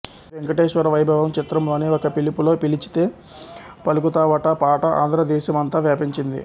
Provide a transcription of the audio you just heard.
శ్రీ వేంకటేశ్వర వైభవం చిత్రంలోని ఒక పిలుపులో పిలిచితే పలుకుతావటా పాట ఆంధ్ర దేశం అంతా వ్యాపించింది